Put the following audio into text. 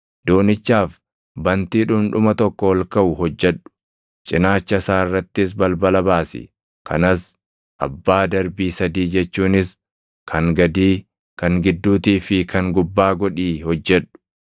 Doonichaaf bantii dhundhuma tokko ol kaʼu hojjedhu; cinaacha isaa irrattis balbala baasi; kanas abbaa darbii sadii jechuunis kan gadii, kan gidduutii fi kan gubbaa godhii hojjedhu.